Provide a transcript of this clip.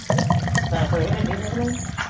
ਪੈਹੇ ਪੁਹੇ ਲੈਂਦੀ ਹੋਣੀ ਕ ਨਹੀਂ?